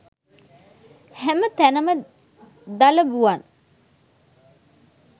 හැම තැනම දලබුවන්